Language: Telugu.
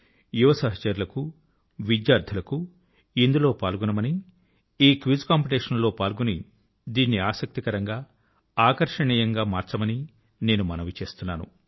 యువ సహచరులకు విద్యార్థులకు ఇందులో పాల్గొనమని ఈ క్విజ్ కాంపిటీషన్ లో పాల్గొని దీన్ని ఆసక్తికరంగా అవిస్మరణీయంగా మార్చమని నేను మనవి చేస్తున్నాను